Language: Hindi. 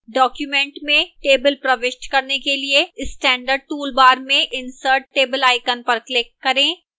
document में table प्रविष्ट करने के लिए standard toolbar में insert table icon पर click करें